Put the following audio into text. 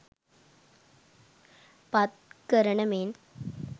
පත් කරන මෙන්